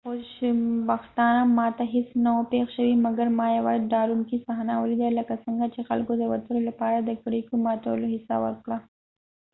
په خوشبختانه ما ته هیڅ نه و پیښ شوي مګر ما یوه ډارونکی صحنه ولیدله لکه څنګه چې خلکو د وتلو لپاره کړکیو ماتولو هڅه وکړه